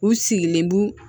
U sigilen b'u